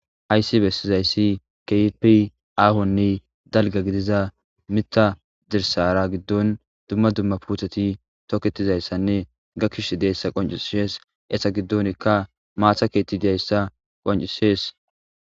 ayssi bessizayssi keipi aahonne dalga gidiza mita dirsara giddon dumma dumma puuthati toketizayssanne ga kish deyssa qoncisees esa giddonikka maathakeeti dayssa qoncisees